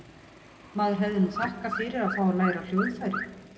Maður hefði nú þakkað fyrir að fá að læra á hljóðfæri.